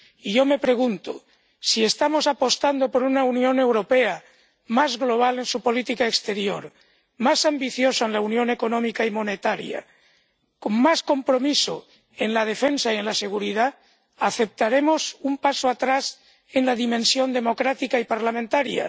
Y yo me pregunto si estamos apostando por una Unión Europea más global en su política exterior, más ambiciosa en la unión económica y monetaria, con más compromiso en la defensa y en la seguridad, ¿aceptaremos un paso atrás en la dimensión democrática y parlamentaria?